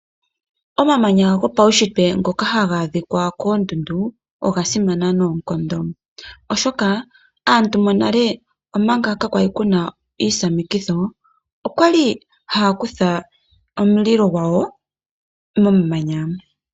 Omamanya gopaushitwe ngoka haga adhika koondundu, oga simana noonkondo, oshoka aantu monale omanga ka kwali kuna iihwamikitho, okwali haya kutha omulilo gwawo momamanya.